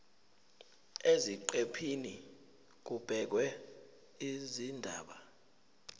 eziqephini kubhekwe izindaba